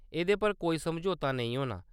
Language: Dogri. एह्‌‌दे पर कोई समझोता नेईं होना।